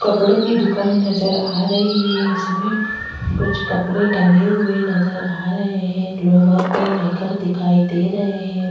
कपड़ो की दुकान नजर आ रही है। इसमें कुछ कपड़े टंगे हुए नजर आ रहें हैं। लोवर और निकर दिखाई दे रहें हैं।